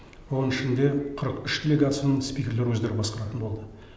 оның ішінде қырық үш делегацияның спикерлері өздері басқаратын болды